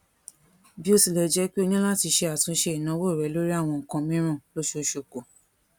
bí ó tilè jé pé ó ní láti ṣe àtúnṣe ìnáwó rẹ lórí àwọn nnkan mìíràn lóṣooṣù kù